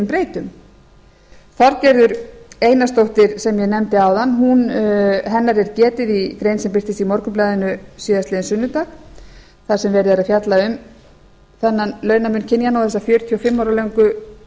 breytum þorgerðar einarsdóttur sem ég nefndi áðan er getið í grein sem birtist í morgunblaðinu síðastliðinn sunnudag þar sem verið er að fjalla um þennan launamun kynjanna og þessa fjörutíu og fimm ára löngu